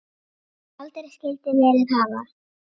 Sem aldrei skyldi verið hafa.